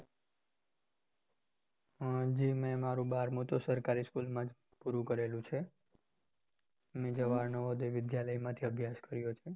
જી મેં મારું બારમું તો સરકારી school માજ પૂરું કરેલું છે, અને જવાહર નવોદય વિદ્યાલયમાંથી અભ્યાસ કર્યો છે.